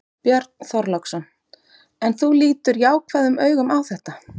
Björn Þorláksson: En þú lítur jákvæðum augum á þetta?